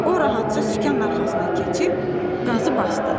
O rahatca sükan arxasına keçib qazı basdı.